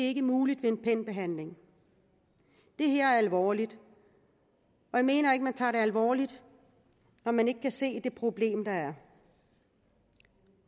ikke muligt ved en penbehandling det her er alvorligt og jeg mener ikke at man tager det alvorligt når man ikke kan se det problem der er